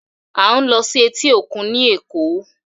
We are going to beach in Lagos.